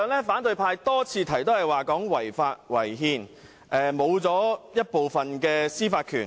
反對派議員多次聲稱"一地兩檢"違法違憲，令香港喪失部分司法權。